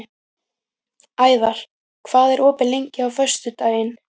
Ævar, hvað er opið lengi á föstudaginn?